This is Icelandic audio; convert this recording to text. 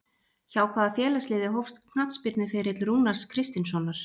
Hjá hvaða félagsliði hófst knattspyrnuferill Rúnars Kristinssonar?